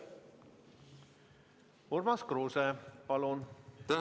Urmas Kruuse, palun!